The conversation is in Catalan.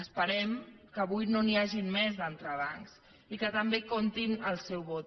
esperem que avui no n’hi hagin més d’entrebancs i que també compti amb el seu vot